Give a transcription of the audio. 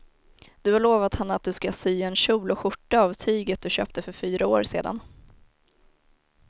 Du har lovat henne att du ska sy en kjol och skjorta av tyget du köpte för fyra år sedan.